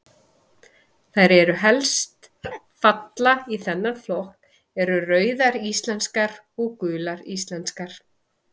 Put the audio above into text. Þær sem helst falla í þennan flokk eru Rauðar íslenskar og Gular íslenskar.